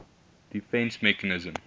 defence mechanism